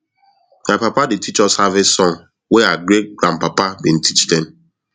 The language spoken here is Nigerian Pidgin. my papa dey teach us harvest song wey our greatgrandpapa bin teach them